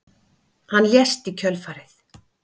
Hann lést í kjölfarið